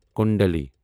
کُنٛدلِی